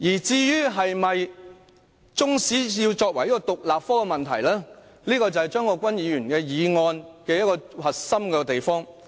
中史是否要成為獨立科是張國鈞議員的議案的核心內容。